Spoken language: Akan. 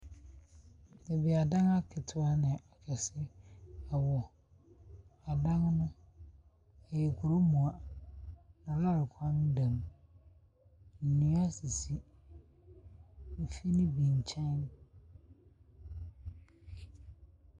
Baabi a adan aketewa ne kɛse ɛwɔ. Adan no ɛyɛ kuro mua. Na lɔri kwan da mu. Nnua sisi efie no bi kyɛn.